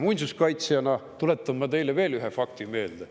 Muinsuskaitsjana tuletan ma teile veel ühe fakti meelde.